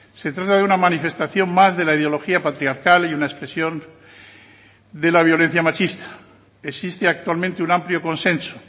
se trata de una manifestación más de la ideología patriarcal y una expresión de la violencia machista existe actualmente un amplio consenso